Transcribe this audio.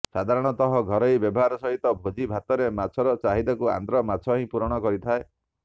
ସାଧାରଣତଃ ଘରୋଇ ବ୍ୟବହାର ସହିତ ଭୋଜି ଭାତରେ ମାଛର ଚାହିଦାକୁ ଆନ୍ଧ୍ର ମାଛହିଁ ପୂରଣ କରିଥାଏ